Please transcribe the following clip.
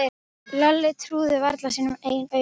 Lalli trúði varla sínum eigin augum.